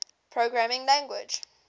programming language